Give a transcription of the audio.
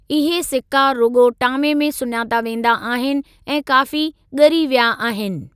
इहे सिका रुॻो टामे में सुञाता वेंदा आहिनि ऐं काफ़ी ॻरी विया आहिनि।